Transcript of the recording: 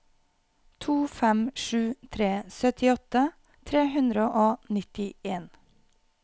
to fem sju tre syttiåtte tre hundre og nittien